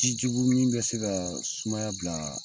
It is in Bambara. Ji jugu min bɛ se ka sumaya bila